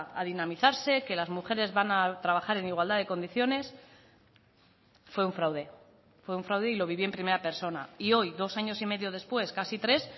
a dinamizarse que las mujeres van a trabajar en igualdad de condiciones fue un fraude fue un fraude y lo viví en primera persona y hoy dos años y medio después casi tres